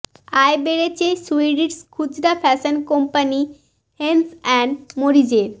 আয় বেড়েছে সুইডিশ খুচরা ফ্যাশন কম্পানি হেনস অ্যান্ড মরিজের